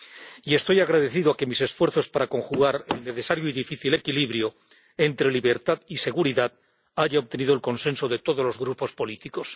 Y agradezco que mis esfuerzos para conjugar el necesario y difícil equilibrio entre libertad y seguridad hayan obtenido el consenso de todos los grupos políticos.